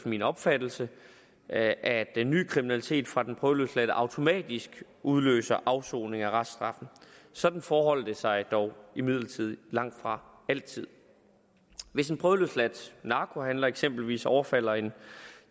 min opfattelse at den nye kriminalitet fra den prøveløsladte automatisk udløser afsoning af reststraffen sådan forholder det sig dog imidlertid langtfra altid hvis en prøveløsladt narkohandler eksempelvis overfalder en